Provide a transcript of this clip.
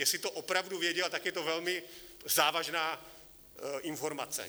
Jestli to opravdu věděl, tak je to velmi závažná informace.